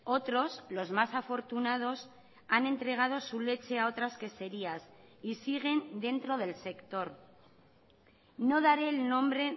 otros los más afortunados han entregado su leche a otras queserías y siguen dentro del sector no daré el nombre